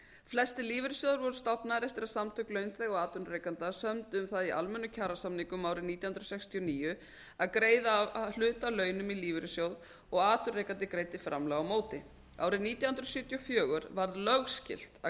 flestir lífeyrissjóðir voru stofnaðir eftir að samtök launþega og atvinnurekenda sömdu um það í almennum kjarasamningum árið nítján hundruð sextíu og níu að greiða hluta af launum í lífeyrissjóð og að atvinnurekandi greiddi framlag á móti árið nítján hundruð sjötíu og fjögur varð lögskylt að